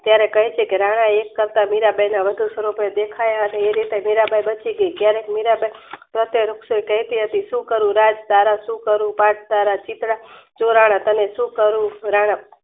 ત્યારે કાહે છે કે રાણા એક પ્રકાર મીરાંબાઈ વધુ સ્વરૂપે દેખ્યા એ રીતે મીરાંબાઈ બચી ગઈ ક્યારેક મીરાબાઈ પ્રત્યે કહેતી શુક્ર નાથ તારા ચોરાણાં સુકારું રાણા